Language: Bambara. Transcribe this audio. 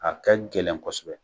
A kɛ gɛlɛn kosɛbɛ.